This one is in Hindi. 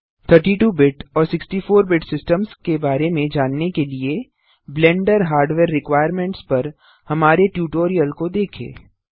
32 बिट और 64 बिट सिस्टम्स के बारे में जानने के लिए ब्लेंडर हार्डवेयर रिक्वायरमेंट्स पर हमारे ट्यूटोरियल को देखें